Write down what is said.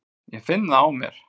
Ég finn það á mér.